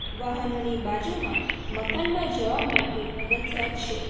વાહનોની બાજુમાં મકાનમાં જવા માટે પગથિયાં છે.